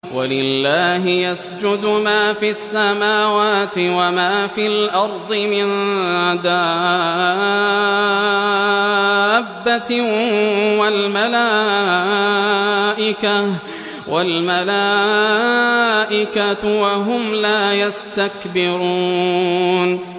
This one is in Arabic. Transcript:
وَلِلَّهِ يَسْجُدُ مَا فِي السَّمَاوَاتِ وَمَا فِي الْأَرْضِ مِن دَابَّةٍ وَالْمَلَائِكَةُ وَهُمْ لَا يَسْتَكْبِرُونَ